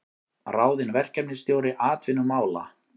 Ráðinn verkefnisstjóri atvinnumála